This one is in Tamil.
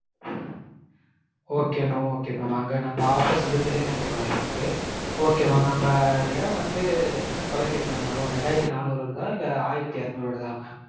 okay mam okay mam. அங்க நம்ம office வந்து தில்லை நகர்ல இருக்கு okay mam. நம்ம எடம் வந்து எத்தன square feet mam வரும்? ரெண்டாயிரத்து நானூறு வருதா இல்ல ஆயிரத்து எரனூறு வருதா mam?